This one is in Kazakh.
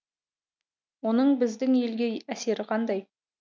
оның біздің елге әсері қандай